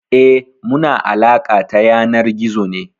Eh, muna alaƙa ta yanar gizo ne.